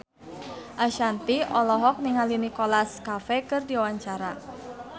Ashanti olohok ningali Nicholas Cafe keur diwawancara